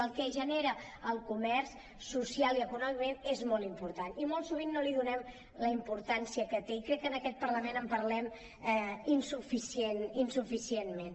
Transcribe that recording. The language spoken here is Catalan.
el que genera el comerç socialment i econòmicament és molt important i molt sovint no li donem la importància que té i crec que en aquest parlament en parlem insufi·cientment